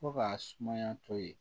Fo k'a sumaya to ye